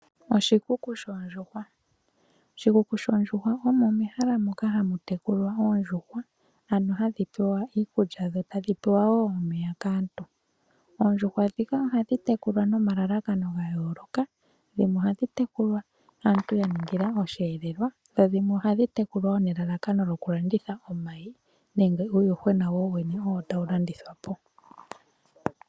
Oshikuku shoondjuhwa omo mehala ndyoka hali tekulilwa oondjuhwa ano hadhi pewa omeya niikulya kaantu. Oondjuhwa ohadhi tekulwa nomalalakano gayooloka dhimwe ohadhi tekulwa aantu ya ningila oshiyelelwa dho dhimwe ohadhi tekulwa nelalakano lyokulanditha omayi nenge uuyuhwena.